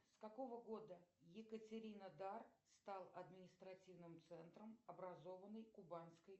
с какого года екатеринодар стал административным центром образованный кубанской